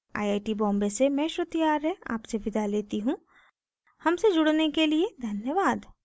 I I T Bombay से मैं श्रुति आर्य आपसे विदा लेती हूँ हमसे जुड़ने के लिए धन्यवाद